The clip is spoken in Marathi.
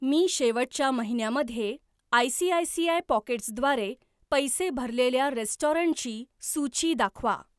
मी शेवटच्या महिन्या मध्ये आयसीआयसीआय पॉकेट्स द्वारे पैसे भरलेल्या रेस्टॉरंटची सूची दाखवा.